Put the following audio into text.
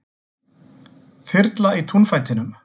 Þyrla í túnfætinum